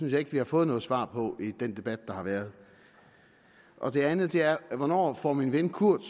jeg ikke vi har fået noget svar på i den debat der har været det andet er hvornår får min ven kurt